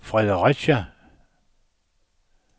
Fredericia